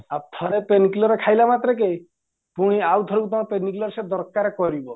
ଆଉ ଥରେ pen clear ଖାଇଲା ମାତ୍ରେକେ ପୁଣି ଆଉଥରକୁ ତମ pen clear ସେ ଦରକାର କରିବ